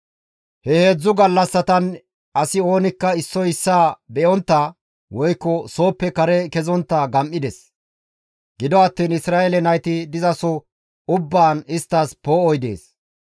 He heedzdzu gallassatan asi oonikka issoy issaa be7ontta, woykko sooppe kare kezontta gam7ides. Gido attiin Isra7eele nayti dizaso ubbaan isttas poo7oy dees.